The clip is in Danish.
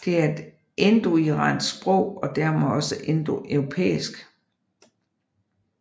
Det er et indoiransk sprog og dermed også indoeuropæisk